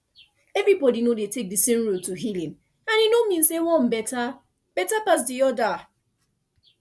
everybody no dey take the same road to healing and e no mean say one better better pass the other